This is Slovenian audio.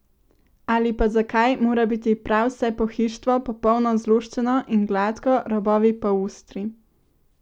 Ali pa zakaj mora biti prav vse pohištvo popolno zloščeno in gladko, robovi pa ostri?